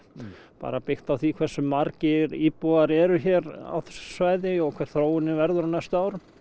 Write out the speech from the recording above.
bara byggt á því hversu margir íbúar eru hér á þessu svæði og hver þróunin verður á næstu árum